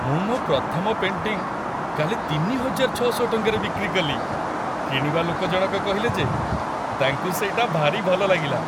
ମୁଁ ମୋ' ପ୍ରଥମ ପେଣ୍ଟିଂ କାଲି ତିନି ହଜାର ଛଅଶହ ଟଙ୍କାରେ ବିକ୍ରି କଲି ! କିଣିବା ଲୋକଜଣକ କହିଲେ ଯେ ତାଙ୍କୁ ସେଇଟା ଭାରି ଭଲ ଲାଗିଲା ।